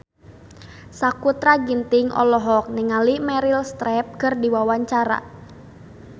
Sakutra Ginting olohok ningali Meryl Streep keur diwawancara